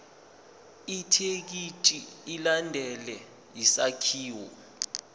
ithekisthi ilandele isakhiwo